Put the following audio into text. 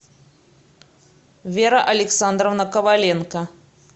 вера александровна коваленко